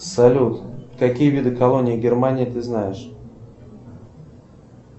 салют какие виды колоний германии ты знаешь